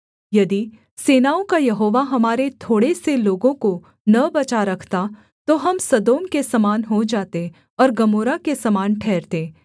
यदि सेनाओं का यहोवा हमारे थोड़े से लोगों को न बचा रखता तो हम सदोम के समान हो जाते और गमोरा के समान ठहरते